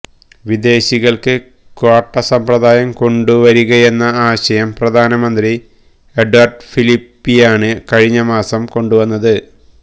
വിദേശികൾക്ക് ക്വാട്ട സമ്പ്രദായം കൊണ്ടുവരികയെന്ന ആശയം പ്രധാനമന്ത്രി എഡ്വാർഡ് ഫിലിപ്പിയാണ് കഴിഞ്ഞമാസം കൊണ്ടുവന്നത്